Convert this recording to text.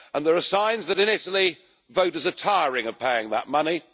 There are signs that in Italy, voters are tiring of paying that money.